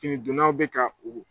Kini dunnaw bɛ ka u